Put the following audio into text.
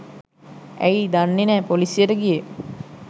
ඇයි දන්නේ නැ පොලිසියට ගියේ